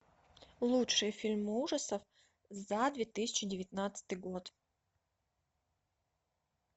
лучшие фильмы ужасов за две тысячи девятнадцатый год